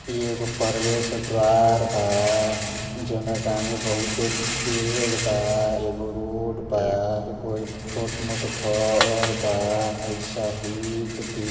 इ एगो परवेश द्वार बा जौना के आंगे बहुते बेड़ बा एगो रोड बा एगो ए छोट मोट घर बा आ ई शहीद बी --